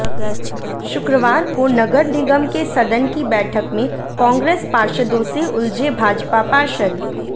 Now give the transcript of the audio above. शुक्रवार को नगर निगम के सदन की बैठक में कांग्रेस पार्षदों से उलझे भाजपा पार्षद